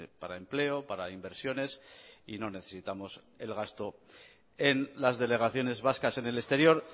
para empleo para inversiones y no necesitamos el gasto en las delegaciones vascas en el exterior